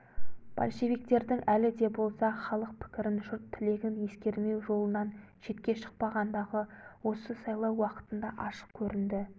большевиктердің әлі де болса халық пікірін жұрт тілегін ескермеу жолынан шетке шықпағандығы осы сайлау уақытында ашық көрінді